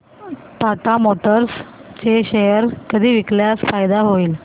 Tata Motors चे share कधी विकल्यास फायदा होईल